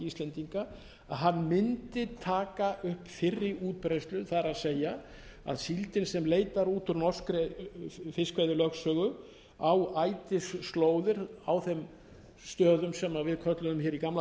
að hann mundi taka upp fyrri útbreiðslu það er að síldin á leitar út úr norskri fiskveiðilögsögu á ætisslóðir á þeim stöðum sem við kölluðum hér í gamla daga þegar við